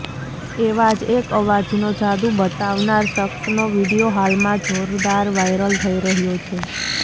એવા જ એક અવાજનો જાદુ બતાવનાર શખ્સનો વીડિયો હાલમાં જોરદાર વાયરલ થઈ રહ્યો છે